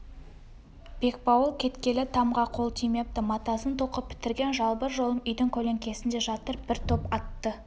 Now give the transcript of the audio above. бекбауыл кеткелі тамға қол тимепті матасын тоқып бітірген жалбыр жолым үйдің көлеңкесінде жатыр бір топ атты